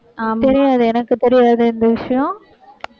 ஆஹ் தெரியாது. எனக்கு தெரியாது, இந்த விஷயம்